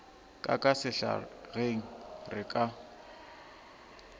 ka ka sehlageng re ka